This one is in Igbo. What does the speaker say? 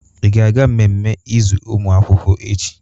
Ị ga-aga mmemme izu ụmụ akwụkwọ echi?